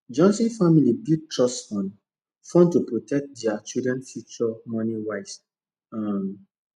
johnson family build trust fund fund to protect their children future moneywise um